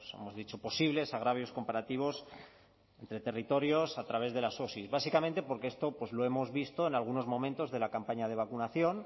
hemos dicho posibles agravios comparativos entre territorios a través de las osi básicamente porque esto lo hemos visto en algunos momentos de la campaña de vacunación